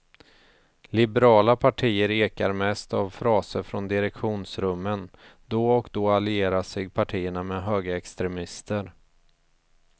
Liberala partier ekar mest av fraser från direktionsrummen, då och då allierar sig partierna med högerextremister.